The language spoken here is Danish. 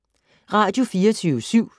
Radio24syv